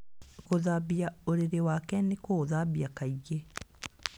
Gũthambia ũrĩrĩ wake na kũũthambia kaingĩ.